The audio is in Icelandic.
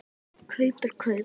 Kaup er kaup.